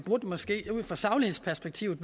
måske ud fra saglighedsperspektivet